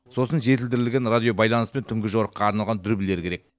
сосын жетілдірілген радиобайланыс пен түнгі жорыққа арналған дүрбілер керек